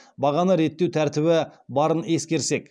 бағаны реттеу тәртібі барын ескерсек